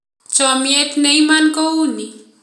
Chomiet neimon kouni